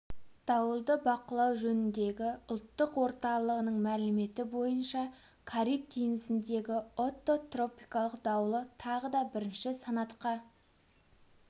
дауылды бақылау жөніндегі ұлттық орталығының мәліметі бойынша кариб теңізіндегі отто тропикалық дауылы тағы да бірінші санатқа